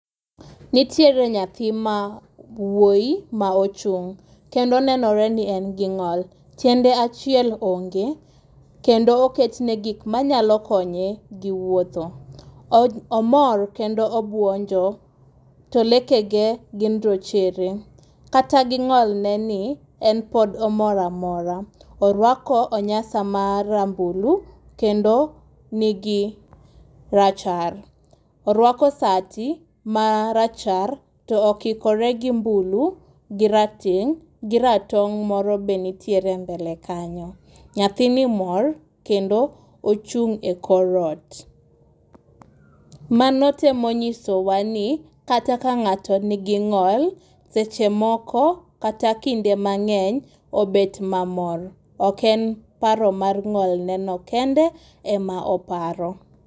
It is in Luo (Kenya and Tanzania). Nitiere nyathi ma wuoyi maochung' kendo onenore ni en gi ng'ol. Tiende achiel onge. Kendo oketne gik manyalo konye gi wuotho. Omor kendo obuonjo. To leke ge gin rochere, kata gi ng'olne ni, en pod omor amora. Orwako onyasa marambulu kendo nigi rachar. Orwako sati marachar to okikore gi mbulu gi rateng' gi ratong' bende nitiere mbele kanyo. Nyathini mor kendo ochung' e kor ot. Mano temo nyisowa ni kata ka ng'ato nigi ng'ol seche moko kata kinde mang'eny obet mamor. Ok en paro mar ng'ol neno kende ema oparo.